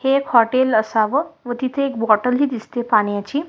हे एक हॉटेल असावं व तिथे एक बॉटल हि दिसतीये पाण्याची.